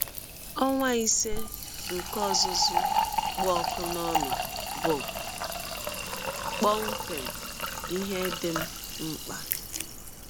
Ọnwa ise nke ọzụzụ kpụ ọkụ n’ọnụ bụ kpọmkwem ihe dị m mkpa.